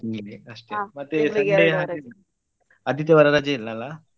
ಅಷ್ಟೇ ಆದಿತ್ಯವಾರ ರಜೆ ಇಲ್ಲ ಅಲ್ಲ.